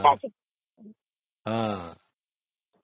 ହଁ ହଁ